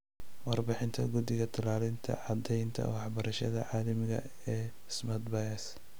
Warbixinta guddiga la-talinta caddaynta waxbarashada caalamiga ah ee 'Smart Buys'.